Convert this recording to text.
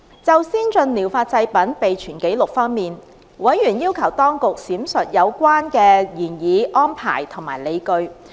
就先進療法製品備存紀錄方面，委員要求當局闡述有關的擬議安排及理據。